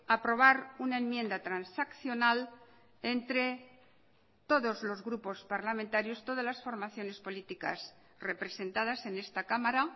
aprobar una enmienda transaccional entre todos los grupos parlamentarios todas las formaciones políticas representadas en esta cámara